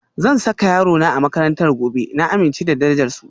Zan saka yarona a makarantar gobe, na amince da darajar su.